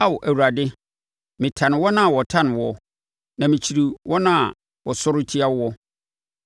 Ao Awurade, metane wɔn a wɔtane wo, na mekyiri wɔn a wɔsɔre tia woɔ.